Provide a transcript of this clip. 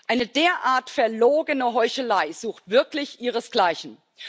Eine derart verlogene Heuchelei sucht wirklich ihresgleichen!